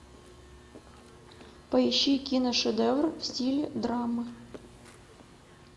поищи киношедевр в стиле драмы